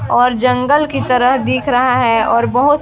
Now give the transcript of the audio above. और जंगल की तरह दिख रहा है और बहोत --